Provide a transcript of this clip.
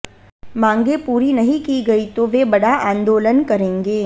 मांगें पूरी नहीं की गई तो वे बड़ा आंदोलन करेंगे